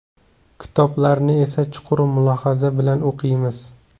Kitoblarni esa chuqur mulohaza bilan o‘qiymiz.